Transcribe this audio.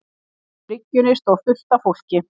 bryggjunni stóð fullt af fólki.